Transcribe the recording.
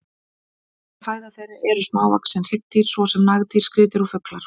Helsta fæða þeirra eru smávaxin hryggdýr svo sem nagdýr, skriðdýr og fuglar.